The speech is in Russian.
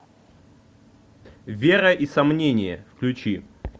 вера и сомнение включи